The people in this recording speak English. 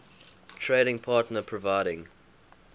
trading partner providing